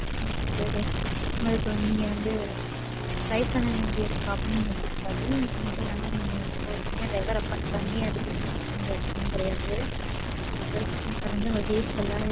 சரீங்க sir. உங்களுக்கு நீங்க வந்து drive பண்ண வேண்டிய problem உங்களுக்கு இருக்காது. அது மட்டும் இல்லாம ஒரு driver appoint பண்ணணும்ங்குற எந்த அவசியமும் கிடையாது. உங்க trip peaceful ஆ